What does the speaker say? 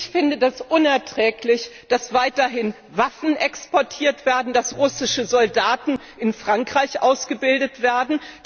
Ich finde das unerträglich, dass weiterhin Waffen exportiert werden, dass russische Soldaten in Frankreich ausgebildet werden.